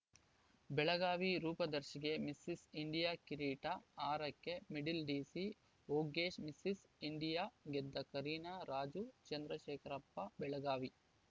ಬೆಳಗಾವಿ ರೂಪದರ್ಶಿಗೆ Mrs India ಕಿರೀಟ ಆರಕ್ಕೆ ಮಿಡಲ್‌ ಡಿಸಿ ವೊಗ್ಗಿಶ್‌ ಮಿಸಸ್‌ ಇಂಡಿಯಾ ಗೆದ್ದ ಕರೀನಾ ರಾಜು ಚಂದ್ರಶೇಖರಪ್ಪ ಬೆಳಗಾವಿ